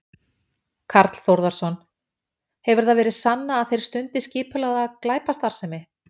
Karl Þórðarson: Hefur það verið sannað að þeir stundi skipulagða glæpastarfsemi?